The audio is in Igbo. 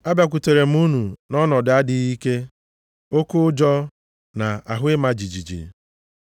Abịakwutere m unu nʼọnọdụ adịghị ike, oke ụjọ na ahụ ịma jijiji.